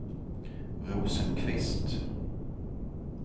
Rosenqvist